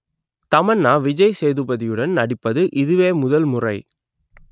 தமன்னா விஜய் சேதுபதியுடன் நடிப்பது இதுவே முதல் முறை